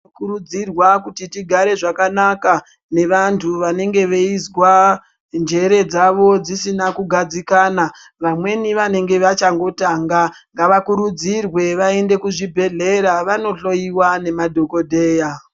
tinokurudzirwa kuti tigare zvakanaka nevantu vanenga veizwa njere dzavo dzisina kugadzikana. Vamweni vanonga vachangotanga ngavakurudzirwe vaende kuzvibhedhlera vanohloiwa nemadhogodheya.